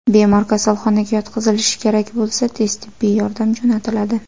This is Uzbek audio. Bemor kasalxonaga yotqizilishi kerak bo‘lsa, tez tibbiy yordam jo‘natiladi.